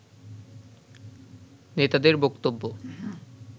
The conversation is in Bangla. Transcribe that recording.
নেতাদের বক্তব্য